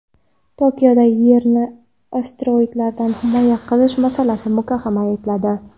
Tokioda Yerni asteroidlardan himoya qilish masalasi muhokama etiladi.